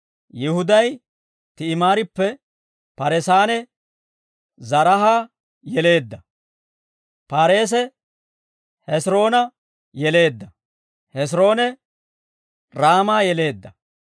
Yihuday Ti'imaarippe Paareesanne Zaraaha yeleedda; Paareese, Hes'iroona yeleedda; Hes'iroone, Raama yeleedda.